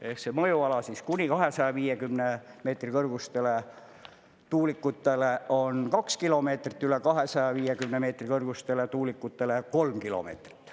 Ehk see mõjuala kuni 250 meetri kõrgustele tuulikutele on kaks kilomeetrit, üle 250 meetri kõrgustele tuulikutele kolm kilomeetrit.